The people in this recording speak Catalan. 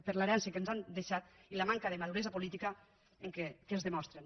per l’herència que ens han deixat i la manca de maduresa política que ens demostren